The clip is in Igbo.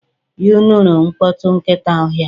You nụrụ mkpọtụ nkịta ọhịa?